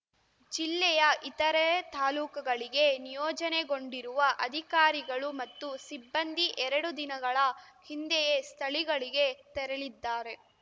ಜಿಲ್ಲೆಯ ಇತರೆ ತಾಲೂಕುಗಳಿಗೆ ನಿಯೋಜನೆಗೊಂಡಿರುವ ಅಧಿಕಾರಿಗಳು ಮತ್ತು ಸಿಬ್ಬಂದಿ ಎರಡು ದಿನಗಳ ಹಿಂದೆಯೇ ಸ್ಥಳಿಗಳಿಗೆ ತೆರಳಿದ್ದಾರೆ